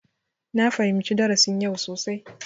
Na fahimci darasin yau sosai.